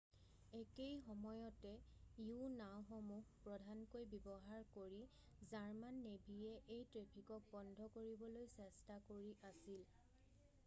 একেই সময়তে u-নাওঁসমূহ প্ৰধানকৈ ব্যৱহাৰ কৰি জাৰ্মান নেভীয়ে এই ট্ৰেফিকক বন্ধ কৰিবলৈ চেষ্টা কৰি আছিল৷